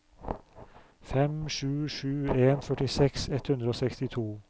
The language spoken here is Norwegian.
fem sju sju en førtiseks ett hundre og sekstito